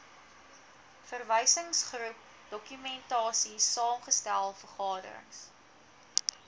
verwysingsgroep dokumentasiesaamgestel vergaderings